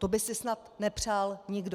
To by si snad nepřál nikdo.